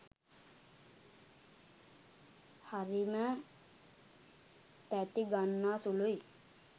හරිම තැති ගන්නා සුළුයි.